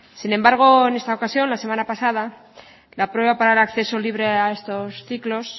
sin embargo en esta ocasión la semana pasada la prueba para el acceso libre a estos ciclos